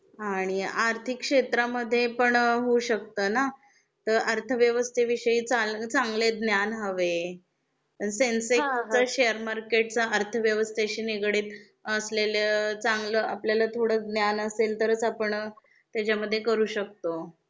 आणि आर्थिक क्षेत्रा मध्ये पण होऊ शकतना तर अर्थव्यवस्थे विषयी चां चांगले ज्ञान हवे, सेन्सेक्सच, शेअर मार्केटच्या, अर्थव्यवस्थेशी निगडित असलेल्या चांगल आपल्याला थोड ज्ञान असेल तरच आपण त्याच्या मध्ये करू शकतो.